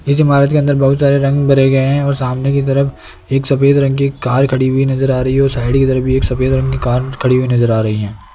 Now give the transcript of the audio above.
इस इमारत के अंदर बहुत सारे रंग भरे गए है और सामने की तरफ एक सफेद रंग की कार खड़ी हुई नजर आ रही है और साइड इधर भी एक सफेद कार खड़ी हुई नजर आ रही है।